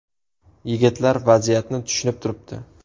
Yigitlar vaziyatni tushunib turibdi.